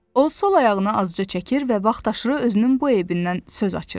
O sol ayağını azca çəkir və vaxtaşırı özünün bu əyibindən söz açırdı.